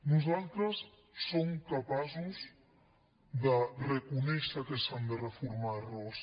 nosaltres som capaços de reconèixer que s’han de reformar errors